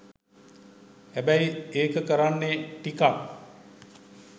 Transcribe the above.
හැබැයි ඒක කරන්නේ ටිකක්